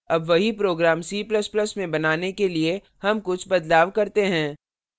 अब वही program c ++ में बनाने के लिए हम कुछ बदलाव करते हैं